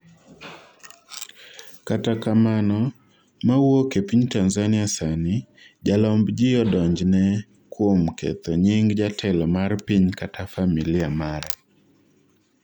kata kamana, mawuok e piny Tanzania sani, jalomb ji odonjne kuom ketho nying jatelo mar piny kata familia mare